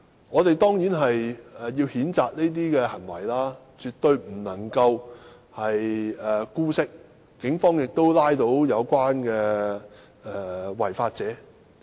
我們固然要譴責這種行為，絕不能姑息，而警方亦已拘捕違法者。